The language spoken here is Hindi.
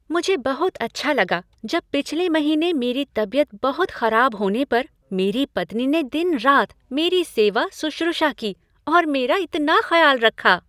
मुझे बहुत अच्छा लगा जब पिछले महीने मेरी तबियत बहुत खराब होने पर मेरी पत्नी ने दिन रात मेरी सेवा सुश्रुषा की और मेरा इतना ख्याल रखा।